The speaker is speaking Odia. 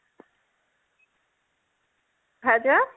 ଭାଉଜ